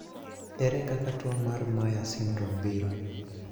Ere kaka tuo mar Myhre syndrome biro?